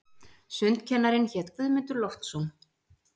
Sundkennarinn hét Guðmundur Loftsson.